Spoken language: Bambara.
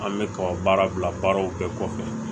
An bɛ kaba bila baaraw bɛɛ kɔfɛ